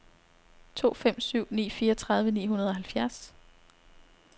to fem syv ni fireogtredive ni hundrede og halvfjerds